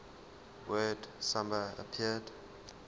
word samba appeared